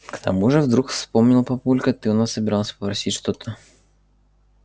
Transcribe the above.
к тому же вдруг вспомнил папулька ты у нас собирался просить что-то